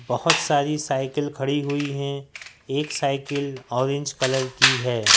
बहोत सारी साइकिल खड़ी हुई है एक साइकिल ऑरेंज कलर की हैं।